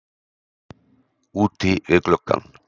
Úti við gluggann.